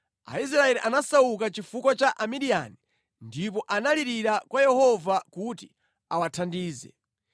Aisraeli anasauka chifukwa cha Amidiyani ndipo analirira kwa Yehova kuti awathandize.